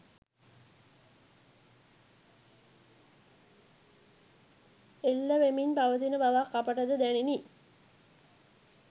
එල්ල වෙමින් පවතින බවක් අපටද දැනිණි